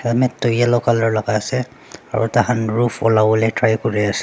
mat toh yellow colour laka ase aro takhan roof ulawo lae try kuriase.